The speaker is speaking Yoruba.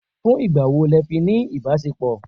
Fún ìgbà wo lẹ fi ní ìbáṣepọ̀?